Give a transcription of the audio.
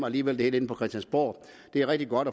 alligevel inde på christiansborg det er rigtig godt